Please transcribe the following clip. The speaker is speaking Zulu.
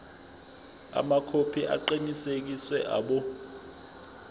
amakhophi aqinisekisiwe abo